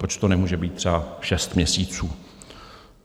Proč to nemůže být třeba šest měsíců?